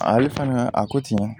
Ale fana a ko ten